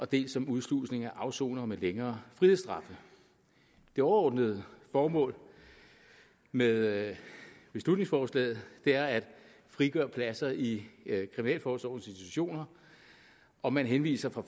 dels som udslusning af afsonere med længere frihedsstraffe det overordnede formål med beslutningsforslaget er at frigøre pladser i kriminalforsorgens institutioner og man henviser fra